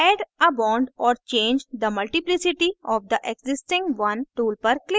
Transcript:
add a bond or change the multiplicity of the existing one tool पर click करें